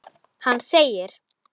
Hann þegir.